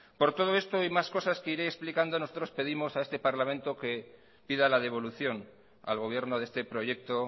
por todo esto y más cosa que iré explicando nosotros pedimos a este parlamento que pida la devolución al gobierno de este proyecto